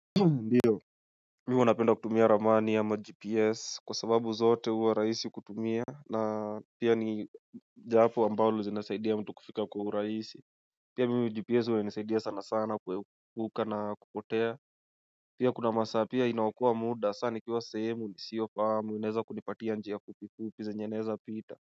Ndiyo Mimi huwa napenda kutumia ramani ama gps kwa sababu zote huwa rahisi kutumia na pia ni japo ambalo zinasaidia mtu kufika kwa uraisi Ndiyo Mimi wanapenda kutumia ramani ama gps kwa sababu zote uwa raisi kutumia na pia ni japo ambalo zinasaidia mtu kufika kwa huraisi Pia mimi gps uwa nisaidia sana sana kuhuka na kupotea.